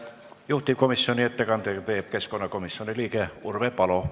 Juhtivkomisjoni ettekande teeb keskkonnakomisjoni liige Urve Palo.